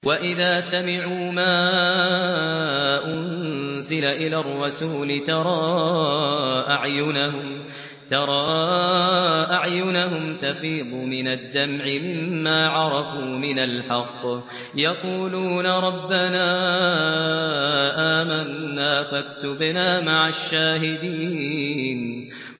وَإِذَا سَمِعُوا مَا أُنزِلَ إِلَى الرَّسُولِ تَرَىٰ أَعْيُنَهُمْ تَفِيضُ مِنَ الدَّمْعِ مِمَّا عَرَفُوا مِنَ الْحَقِّ ۖ يَقُولُونَ رَبَّنَا آمَنَّا فَاكْتُبْنَا مَعَ الشَّاهِدِينَ